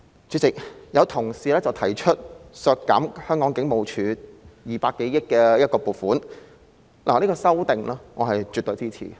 主席，有同事提出修正案，要求削減香港警務處200多億元的撥款，我絕對支持。